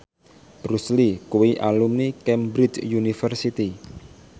Bruce Lee kuwi alumni Cambridge University